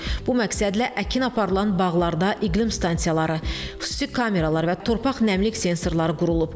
Bu məqsədlə əkin aparılan bağlarda iqlim stansiyaları, xüsusi kameralar və torpaq nəmlik sensorları qurulub.